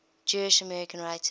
jewish american writers